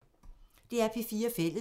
DR P4 Fælles